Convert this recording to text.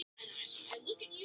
Krían komin á Nesið